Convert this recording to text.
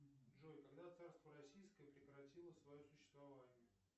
джой когда царство российское прекратило свое существование